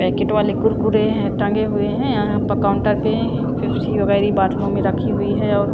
packet वाले कुरकुरे हैं टंगे हुए हैं यहां पर काउंटर पे फप्सी वगैर बॉटलों में रखी हुई है और--